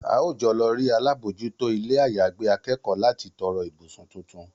A óò jọ lọ rí alábòójútó ilé-àyágbé akẹ́kọ̀ọ́ láti tọrọ ibùsùn tuntun